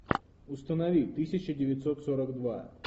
установи тысяча девятьсот сорок два